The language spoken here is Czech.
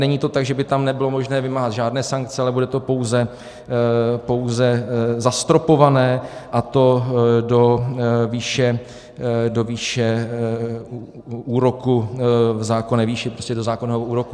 Není to tak, že by tam nebylo možné vymáhat žádné sankce, ale bude to pouze zastropované, a to do výše úroku v zákonné výši, prostě do zákonného úroku.